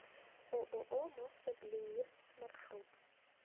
ооо мособлеирц маршрут